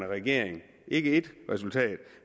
regering ikke ét resultat